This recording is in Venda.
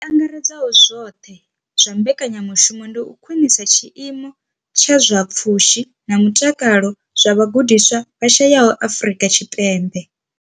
I angaredzaho zwoṱhe ya mbekanyamushumo ndi u khwinisa tshiimo tsha zwa pfushi na mutakalo zwa vhagudiswa vha shayesaho Afrika Tshipembe.